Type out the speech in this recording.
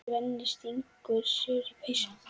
Svenni stingur sér í peysu.